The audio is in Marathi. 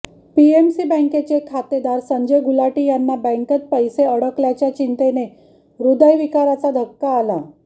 पीएमसी बँकेचे खातेदार संजय गुलाटी यांना बँकेत पैसे अडकल्याच्या चिंतेने हृदयविकाराचा धक्का आला